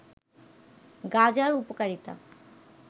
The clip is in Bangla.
গাজার উপকারিতা